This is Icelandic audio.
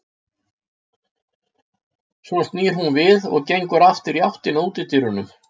Svo snýr hún við og gengur aftur í áttina að útidyrum.